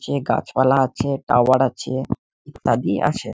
যে গাছ পালা আছে টাওয়ার আছে ইত্যাদি আছে ।